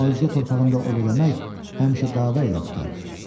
Amma özgə torpağında ov eləmək həmişə dava ilə qurtarır.